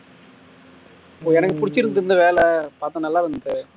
எனக்கு புடுச்சிருக்குது இந்த வேலை பாத்தா நல்ல வந்துட்டு